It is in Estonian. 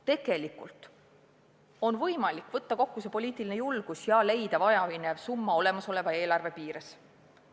Tegelikult on võimalik poliitiline julgus kokku võtta ja leida vajaminev summa olemasoleva eelarve piires.